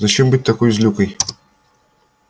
зачем быть такой злюкой